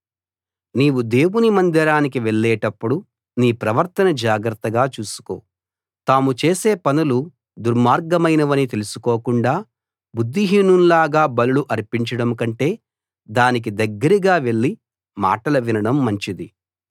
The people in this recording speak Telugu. నీవు దేవుని మందిరానికి వెళ్ళేటప్పుడు నీ ప్రవర్తన జాగ్రత్తగా చూసుకో తాము చేసే పనులు దుర్మార్గమైనవని తెలుసుకోకుండా బుద్ధిహీనుల్లాగా బలులు అర్పించడం కంటే దానికి దగ్గరగా వెళ్లి మాటలు వినడం మంచిది